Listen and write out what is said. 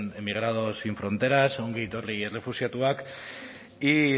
emigrados sin fronteras ongi etorri errefuxiatuak y